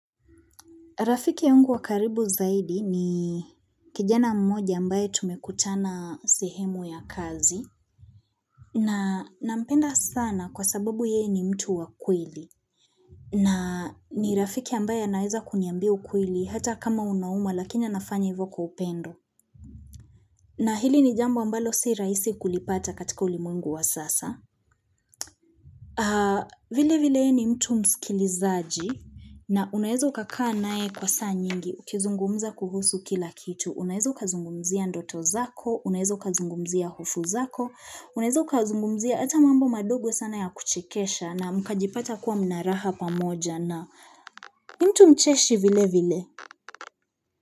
Rafiki yangu wakaribu zaidi ni kijana mmoja ambaye tumekutana sehemu ya kazi na nampenda sana kwa sababu yeye ni mtu wa kweli na ni rafiki ambaye aweza kuniambia ukweli hata kama unauma lakini anafanya hivyo kwa upendo na hili ni jambo ambalo si rahisi kulipata katika ulimwengu wa sasa. Vile vile ni mtu msikilizaji na unawezo ukakaa nae kwa saa nyingi ukizungumza kuhusu kila kitu, unawezo ukazungumzia ndoto zako, unawezo ukazungumzia hofu zako, unaezo kazungumzia hata mambo madogo sana ya kuchekesha na mkajipata kuwa mnaraha pamoja na mtu mcheshi vile vile.